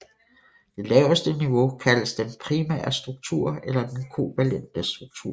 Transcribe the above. Det laveste niveau kaldes den primære struktur eller den kovalente struktur